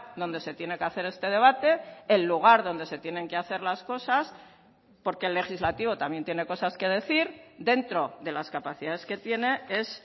donde se tiene que hacer este debate el lugar donde se tienen que hacer las cosas porque el legislativo también tiene cosas que decir dentro de las capacidades que tiene es